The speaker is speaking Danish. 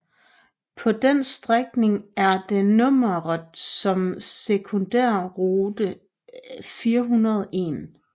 På den strækning er den nummereret som sekundærrute 401